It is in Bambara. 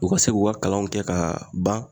U ka se k'u ka kalanw kɛ ka ban